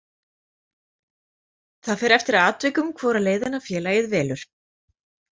Það fer eftir atvikum hvora leiðina félagið velur.